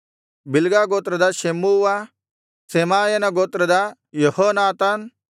Bilgah ಗೋತ್ರದ Shammua ಶೆಮಾಯನ ಗೋತ್ರದ ಯೆಹೋನಾತಾನ್